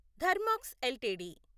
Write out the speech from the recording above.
Thermax LTD